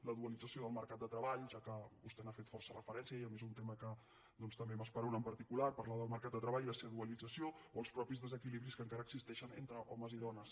la dualització del mercat de treball ja que vostè hi ha fet força referència i a mi és un tema que doncs també m’esperona en particular parlar del mercat de treball i la seva dualització o els mateixos desequilibris que encara existeixen entre homes i dones